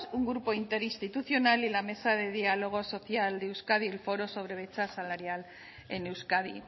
un grupo interinstitucional y la mesa de diálogo social de euskadi el foro sobre brecha salarial en euskadi